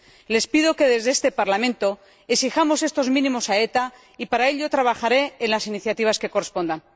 Les pido que, desde este Parlamento, exijamos estos mínimos a ETA y para ello trabajaré en las iniciativas que correspondan.